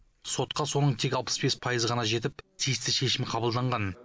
сотқа соның тек алпыс бес пайызы қана жетіп тиісті шешім қабылданған